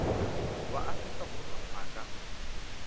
wa afrika borwa a ka